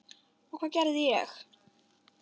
Og hvað gerði ég?